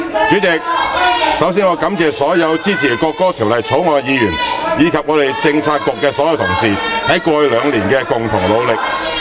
主席，首先我感謝所有支持《國歌條例草案》的議員，以及我們政策局的所有同事，在過去兩年的共同努力......